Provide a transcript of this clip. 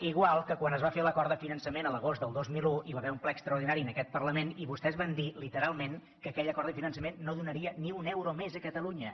igual que quan es va fer l’acord de finançament a l’agost del dos mil un i hi va haver un ple extraordinari en aquest parlament i vostès van dir literalment que aquell acord de finançament no donaria ni un euro més a catalunya